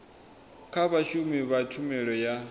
kha vhashumi vha tshumelo ya